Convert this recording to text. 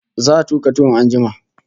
Za'a tuka tuwon an jima